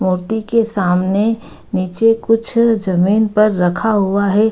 मूर्ति के सामने नीचे कुछ जमीन पर रखा हुआ है ।